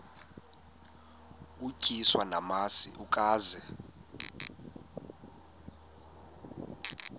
utyiswa namasi ukaze